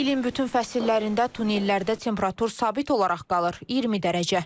İlin bütün fəsillərində tunnellərdə temperatur sabit olaraq qalır, 20 dərəcə.